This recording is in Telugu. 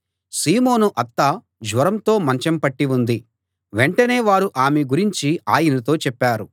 సీమోను అత్త జ్వరంతో మంచం పట్టి ఉంది వెంటనే వారు ఆమె గురించి ఆయనతో చెప్పారు